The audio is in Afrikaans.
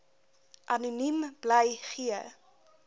anoniem bly gee